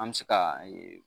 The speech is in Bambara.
An bɛ se ka